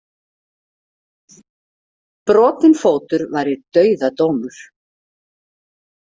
Brotinn fótur væri dauðadómur.